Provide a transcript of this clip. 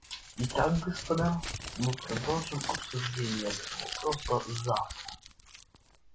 итак господа мы продолжим обсуждение этого вопроса завтра